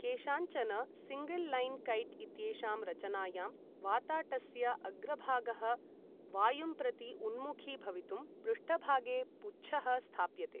केषाञ्चन single line kite इत्येषां रचनायां, वाताटस्य अग्रभागः वायुं प्रति उन्मुखी भवितुं, पृष्ठभागे पुच्छः स्थाप्यते।